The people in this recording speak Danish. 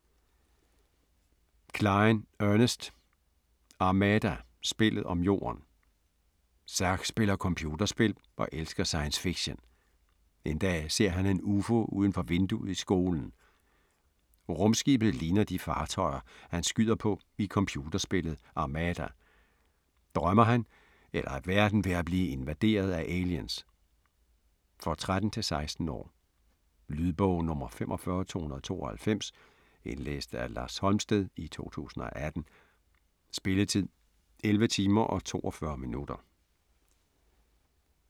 Cline, Ernest: Armada: spillet om Jorden Zack spiller computerspil og elsker science fiction. En dag ser han en ufo uden for vinduet i skolen. Rumskibet ligner de fartøjer, han skyder på i computerspillet Armada. Drømmer han, eller er verden ved at blive invaderet af aliens? For 13-16 år. Lydbog 45292 Indlæst af Lars Holmsted, 2018. Spilletid: 11 timer, 42 minutter.